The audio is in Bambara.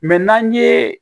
n'an ye